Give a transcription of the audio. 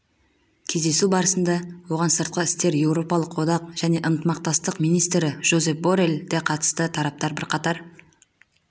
кездесу барысында оған сыртқы істер еуропалық одақ және ынтымақтастық министрі жозеп борелл де қатысты тараптар бірқатар